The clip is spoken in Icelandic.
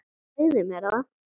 Segðu mér það.